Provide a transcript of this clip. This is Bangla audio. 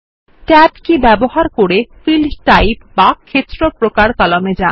ট্যাব কি ব্যবহার করে ফিল্ড টাইপ বা ক্ষেত্র প্রকার কলামে যান